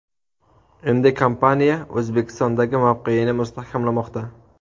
Endi kompaniya O‘zbekistondagi mavqeyini mustahkamlamoqda.